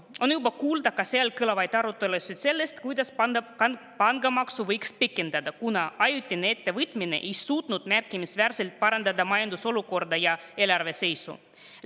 On juba kuulda, et seal kõlavad arutelud sellest, kuidas pangamaksu võiks pikendada, kuna ajutine ettevõtmine ei suutnud märkimisväärselt parandada majandusolukorda ja eelarve seisu.